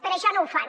per això no ho fan